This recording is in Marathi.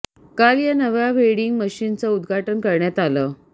काल या नव्या व्हेडिंग मशीनचं उद्घाटन करण्यात आलं